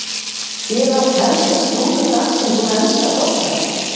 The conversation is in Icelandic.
Hér er allt helsta slúður dagsins úr enska boltanum.